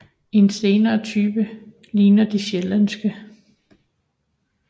En senere type ligner de sjællandske